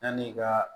Yanni i ka